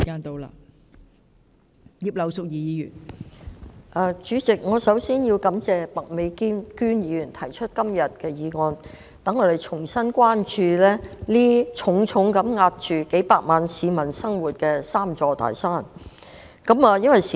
代理主席，首先，我要感謝麥美娟議員今天提出這項議案，讓我們重新關注重重壓着數百萬市民生活的"三座大山"。